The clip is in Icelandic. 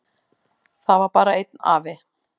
Það var bara einn afi.